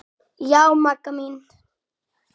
Já, Magga mín.